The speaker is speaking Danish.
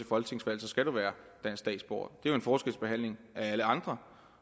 folketingsvalg skal du være dansk statsborger det er jo en forskelsbehandling af alle andre